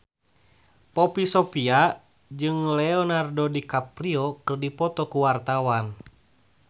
Poppy Sovia jeung Leonardo DiCaprio keur dipoto ku wartawan